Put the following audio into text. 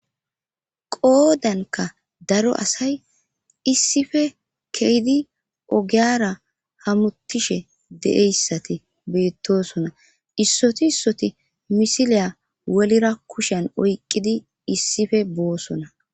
qoodanka daro asay issife keydi ogiyara hamutishe de7eyssati beettosona issoti issoti misiliya welira kushen oyqqidi issife boosona